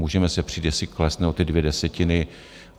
Můžeme se přít, jestli klesne o ty dvě desetiny.